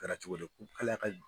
A kɛra cogo di